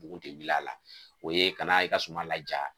Bugu de wil'a la o ye kana i ka suma laja